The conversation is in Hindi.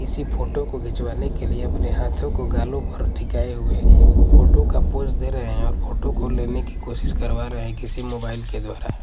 इसी फोटो को घिचवाने के लिए अपने हाथों को गालों पर टिकायें हुए फोटो का पोज दे रहे हैं और फोटो को लेने की कोशिश करवा रहा है किसी मोबाइल के द्वारा--